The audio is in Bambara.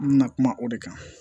N bɛna kuma o de kan